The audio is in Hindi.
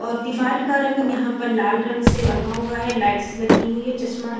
और दीवाल का रंग यहाँ पर लाल रंग से रंगा हुआ है लाइट्स लगी हुई है चश्मा रख--